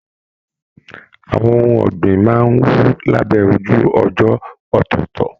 Àwọn ohùn ọ̀gbìn máa n wú labẹ ojú ọjọ ọtọọtọ.